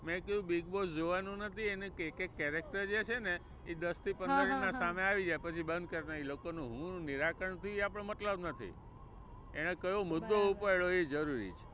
મેં કીધું બિગબોસ જોવાનું નથી એને એક એક character જે છે ને એ દસ થી પંદર મિનિટ માં સામે આવી જાય પછી બંધ કરવાનું. એ લોકો નું શું નિરાકરણ થયું એ આપણે મતલબ નથી, એને કયો મુદ્દો ઉપાડ્યો એ જરૂરી છે.